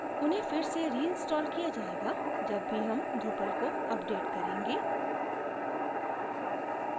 उन्हें फिर से reinstalled किया जायेगा जब भी हम drupal को अपडेट करेंगे